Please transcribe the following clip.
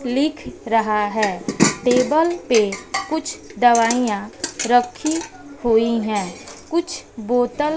लिख रहा है टेबल पे कुछ दवाइयां रखी हुई है कुछ बोतल --